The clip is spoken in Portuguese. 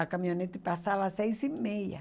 A caminhonete passava às seis e meia.